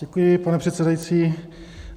Děkuji, pane předsedající.